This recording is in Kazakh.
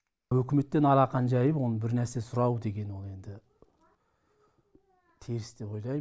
өкіметтен алақан жайып бірнәрсе сұрау деген ол енді теріс деп ойлайм